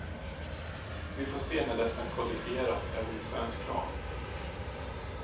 Vi får se när detta kodifieras även i svensk lag.